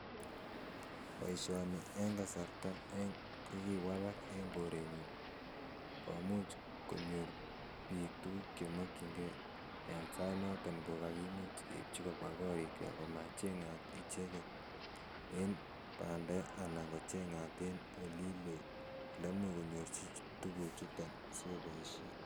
Boishoni en kasarta ko kiwalak en korenyun komuch konyor biik tukuk chemokying'ee en sainoton kokakimuch keibchi kobwa korikwak komacheng'at icheketicheket en banda anan kocheng'at en olii loo eleimuch konyorchi tuchuton sikoboishen.